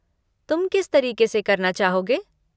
तुम किस तरीके से करना चाहोगे?